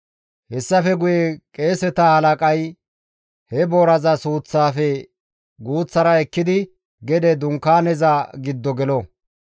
Hessafe guye qeeseta halaqay he booraza suuththaafe guuththara ekkidi gede dunkaaneza giddo gelo;